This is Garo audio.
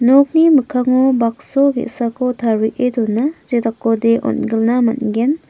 nokni mikkango bakso ge·sako tarie dona jedakode on·gilna man·gen.